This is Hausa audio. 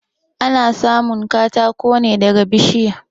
Ana samun katako ne daga bishiya.